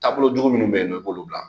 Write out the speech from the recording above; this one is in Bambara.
Taabolo jugu minnu be yen nɔn, i b'olu bila.